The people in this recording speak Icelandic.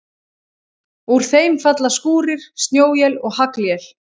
Úr þeim falla skúrir, snjóél eða haglél.